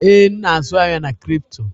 Ee, m na-azụ ahịa na crypto.